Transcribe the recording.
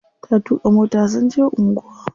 Ta tuƙa mota sun je anguwa.